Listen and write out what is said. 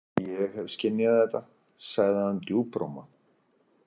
Ég hef skynjað þetta, sagði hann djúpróma.